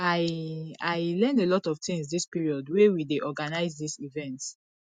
i i learn a lot of things dis period wey we dey organize dis event